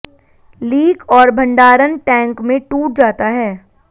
leak और भंडारण tank में टूट जाता है